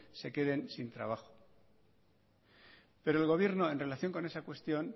se queden sin trabajo pero el gobierno en relación con esa cuestión